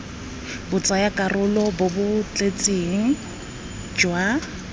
botsayakarolo bo bo tletseng jwa